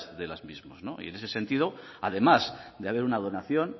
de los mismos y en ese sentido además de haber una donación